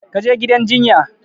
Ka je gidan jinya!